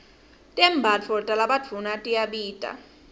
tembatfo talabadvuna tiyabita